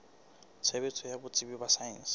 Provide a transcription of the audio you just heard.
tshebetso ya botsebi ba saense